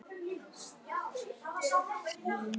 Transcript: muldrar hún.